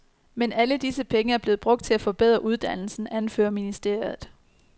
Men alle disse penge er blevet brugt til at forbedre uddannelsen, anfører ministeriet.